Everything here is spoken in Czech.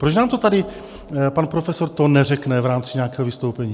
Proč nám to tady pan profesor Thon neřekne v rámci nějakého vystoupení?